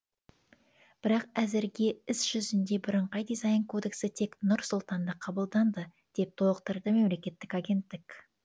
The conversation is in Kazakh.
бірақ әзірге іс жүзінде бірыңғай дизайн кодексі тек нұр сұлтанда қабылданды деп толықтырды мемлекеттік агенттік